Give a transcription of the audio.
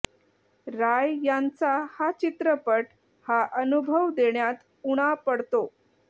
राय यांचा हा चित्रपट हा अनुभव देण्यात उणा पडतो